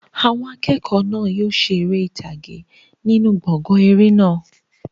Àwọn akẹ́kọ̀ọ́ náà yóò ṣe eré orí ìtàgé nínú gbọ̀ngàn eré náà.